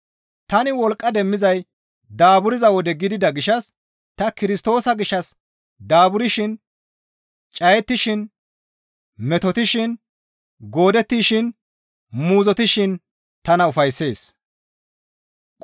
Tani wolqqa demmizay daaburza wode gidida gishshas ta Kirstoosa gishshas daaburshin, cayettishin, metotishin, goodettishin, muuzottishin tana ufayssees.